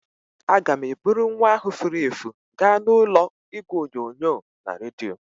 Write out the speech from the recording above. Aga m eburu nwa ahụ furu efu gaa n'ụlọ igwe onyonyo na redio.